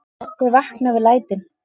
Þau vakna við lætin.